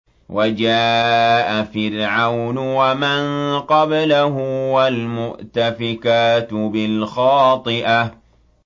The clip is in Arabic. وَجَاءَ فِرْعَوْنُ وَمَن قَبْلَهُ وَالْمُؤْتَفِكَاتُ بِالْخَاطِئَةِ